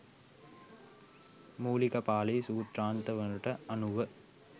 මූලික පාලි සූත්‍රාන්ත වලට අනුව